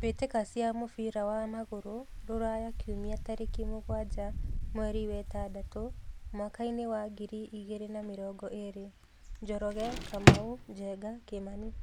Mbĩtĩka cia mũbira wa magũrũ Ruraya Kiumia tarĩki mũgwanja mweri wetandatũ mwakainĩ wa ngiri igĩrĩ na mĩrongo ĩrĩ :Njoroge, Kamau, Njenga, Kimani